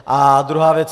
A druhá věc.